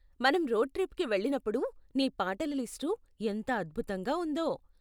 మనం రోడ్ ట్రిప్కి వెళ్ళినప్పుడు నీ పాటల లిస్టు ఎంత అద్భుతంగా ఉందో.